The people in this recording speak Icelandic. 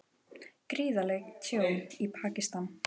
Gríðarlegt tjón í Pakistan